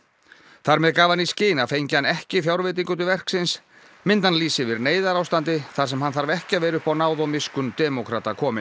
þar með gaf hann í skyn að fengi hann ekki fjárveitingu til verksins myndi hann lýsa yfir neyðarástandi þar sem hann þarf ekki að vera upp á náð og miskunn demókrata kominn